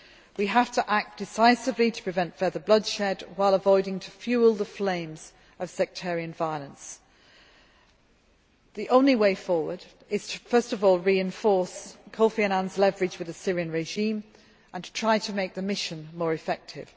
We have to act decisively to prevent further bloodshed, while avoiding fuelling the flames of sectarian violence. The only way forward is first of all to reinforce Kofi Annan's leverage with the Syrian regime and to try to make the mission more effective.